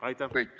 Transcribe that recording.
Aitäh!